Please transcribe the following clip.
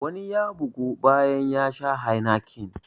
Wani ya bygu bayan ya sha heineken.